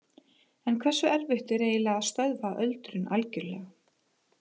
En hversu erfitt er eiginlega að stöðva öldrun algjörlega?